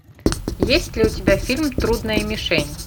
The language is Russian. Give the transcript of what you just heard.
есть ли у тебя фильм трудная мишень